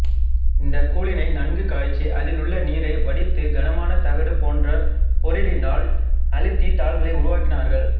இந்த கூழினை நன்கு காய்ச்சி அதில் உள்ள நீரை வடித்து கனமான தகடு போன்ற பொருளினால் அழுத்தி தாள்களை உருவாக்கினார்கள்